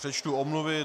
Přečtu omluvy.